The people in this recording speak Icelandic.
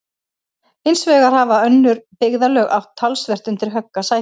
Hins vegar hafa ýmis önnur byggðarlög átt talsvert undir högg að sækja.